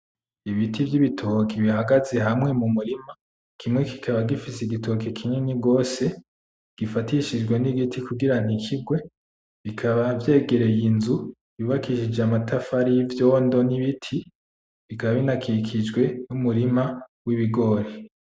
Ibiti vy'ibitoke bihagaze hamwe mu murima, kimwe kikaba gifise igitoke kinini gose gifatishijwe n'igiti kugira ntikigwe bikaba vyegereye inzu yubakishije amatafari y'ivyondo n'ibiti bikaba binakikijwe numurima w'ibigori.